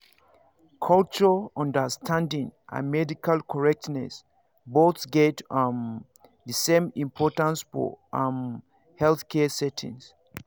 culture understanding and medical correctness both get um the same importance for um healthcare settings